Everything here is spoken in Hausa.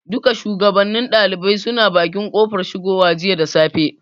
Duka shugabannin ɗaliban suna bakin kofar shigowa jiya da safe.